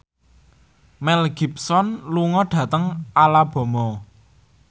Mel Gibson lunga dhateng Alabama